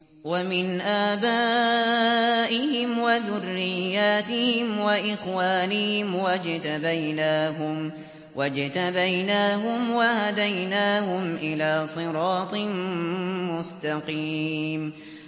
وَمِنْ آبَائِهِمْ وَذُرِّيَّاتِهِمْ وَإِخْوَانِهِمْ ۖ وَاجْتَبَيْنَاهُمْ وَهَدَيْنَاهُمْ إِلَىٰ صِرَاطٍ مُّسْتَقِيمٍ